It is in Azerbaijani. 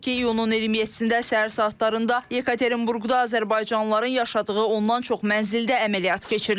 Qeyd edək ki, iyunun 27-də səhər saatlarında Yekaterinburqda azərbaycanlıların yaşadığı ondan çox mənzildə əməliyyat keçirilib.